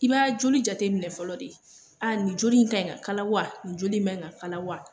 I b'a joli jate minɛ fɔlɔ de, aa joli in kan ka kala wa nin joli in man ka kala wa